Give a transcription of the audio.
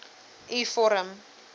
u vorm